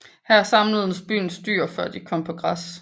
Her samledes byens dyr før de kom på græs